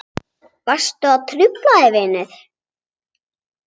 Varstu að hrufla þig vinur?